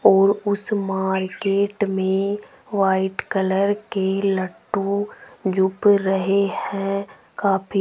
और उस मार्केट में वाइट कलर के लट्टू जूप रहे है काफी --